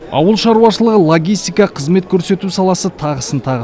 ауыл шаруашылығы логистика қызмет көрсету саласы тағысын тағы